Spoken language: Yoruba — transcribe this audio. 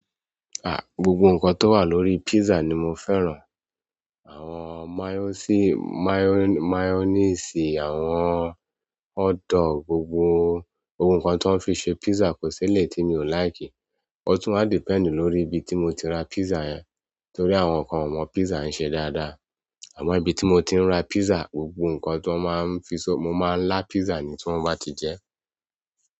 Ah, gbogbo nǹkan tó wà lórí pizza ni mo fẹ́ràn. Àwọn máyọ́nìsì, àwọn hotdog, gbogbo ohun kan ti wọn ń fi se pizza kò sí eleyi tí mi ò láìkì. Ó tún wa depend lórí ibi tí mo ti ra pizza yẹn. Nítorí àwọn nǹkan o mọ pizza n ṣe dáadáa. Àmọ́ ibi tí mo ti ń ra pizza, gbogbo nǹkan ti wọn máa ń fi ṣe, mo máa ń là pizza ni tí wọ́n bá ti jẹ ẹ́.